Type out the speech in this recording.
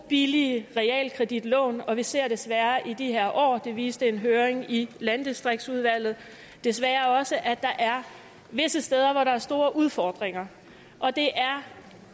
billige realkreditlån og vi ser desværre i de her år det viste en høring i landdistriktsudvalget desværre også at der er visse steder hvor der er store udfordringer det er